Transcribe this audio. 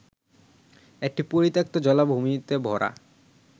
একটি পরিত্যক্ত, জলাভূমিতে ভরা